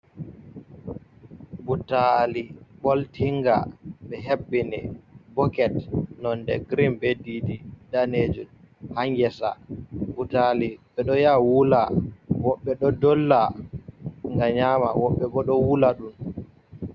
Butali ɓoltinga ɓe hebbini boket nonde green, be ɗiɗi danejum, ha ngesa, butali ɓe ɗo ya wula, woɓɓe ɗo dolla ngam nyama, woɓɓe ɓo ɗo wula ɗum